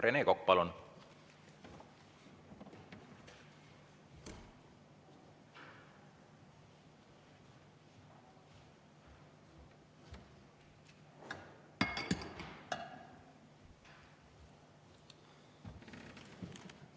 Rene Kokk, palun!